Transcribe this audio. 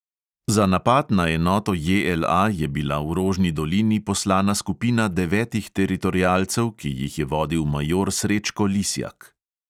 Za napad na enoto JLA je bila v rožni dolini poslana skupina devetih teritorialcev, ki jih je vodil major srečko lisjak.